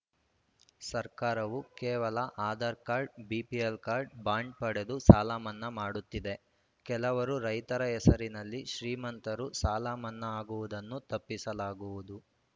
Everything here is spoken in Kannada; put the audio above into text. ಸರ್ಕಾರವು ಕೇವಲ Aadhaar card BPL card bond ಪಡೆದು ಸಾಲ ಮನ್ನಾ ಮಾಡುತ್ತಿದೆ ಕೆಲವರು ರೈತರ ಹೆಸರಿನಲ್ಲಿ ಶ್ರೀಮಂತರು ಸಾಲಮನ್ನಾ ಆಗುವುದನ್ನು ತಪ್ಪಿಸಲಾಗುವುದು